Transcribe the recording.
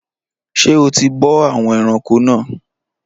Ṣé o ti bọ́ àwọn ẹranko náà?